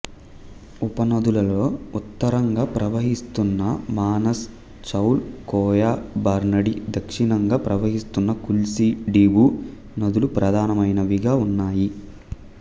ఉపనదులలో ఉత్తరంగా ప్రవహిస్తున్న మనాస్ చౌల్ కోయా బర్నాడి దక్షిణంగా ప్రవహిస్తున్న కుల్సి డిబూ నదులు ప్రధానమైనవిగా ఉన్నాయి